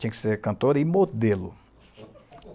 Tinha que ser cantora e modelo.